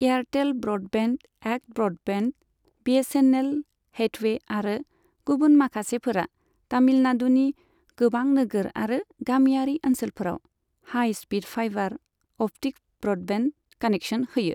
Airtel broadband, ACT broadband, BSNL, Hathway आरो गुबुन माखासेफोरा तमिलनाडुनि गोबां नोगोर आरो गामियारि ओनसोलफोराव high speed fibre optic broadband connection होयो।